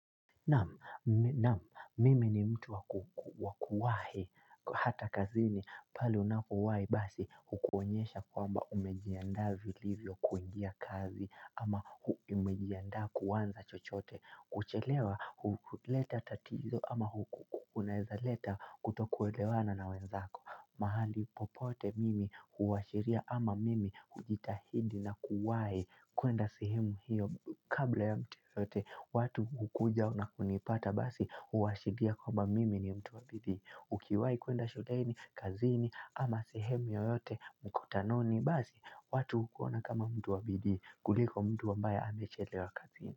Naam, mimi ni mtu wa wa kuwahi hata kazini pale unakowahi basi hukuonyesha kwamba umejiandaa vilivyo kuingia kazi ama umejiandaa kuanza chochote kuchelewa huleta tatizo ama kunaweza leta kutokuelewana na wenzako mahali popote mimi huashiria ama mimi hujitahidi na kuwahi kuenda sehemu hiyo kabla ya mtu yoyote watu hukuja na kunipata basi huashiria kwamba mimi ni mtu wa bidii. Ukiwahi kuenda shuleni, kazini ama sehemu yoyote mkutanoni basi watu hukuona kama mtu wa bidii kuliko mtu ambae amechelewa kazini.